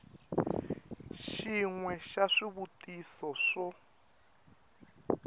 xin we xa swivutiso swo